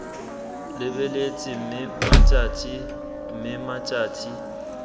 lebeletse mme mmatšhatšhi mme mmatšhatšhi